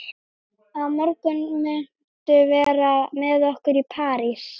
Á morgun muntu vera með okkur í Paradís.